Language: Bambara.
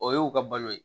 O y'u ka balo ye